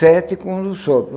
Sete com um do sopro.